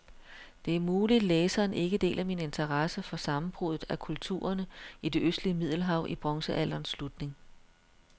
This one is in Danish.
Det er muligt, læseren ikke deler min interesse for sammenbruddet af kulturerne i det østlige middelhav i bronzealderens slutning.